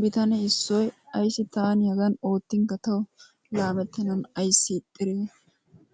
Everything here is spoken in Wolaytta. Bitane issoy "ayissi taani Hagan oottinkka tawu laamettennan ayissi ixxide